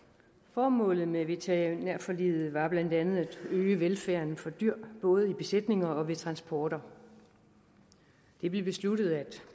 formålet med veterinærforliget var blandt andet at øge velfærden for dyr både i besætninger og ved transporter det blev besluttet at